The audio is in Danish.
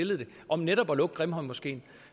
om netop at lukke grimhøjmoskeen